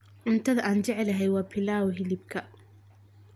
Cuntada aan jeclahay waa pilaf hilibka.